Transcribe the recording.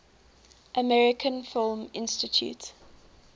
american film institute